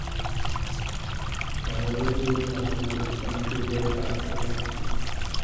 Tau redioyetab nguni eng tugetab ingony